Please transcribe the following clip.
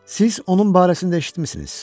Siz onun barəsində eşitmisiniz?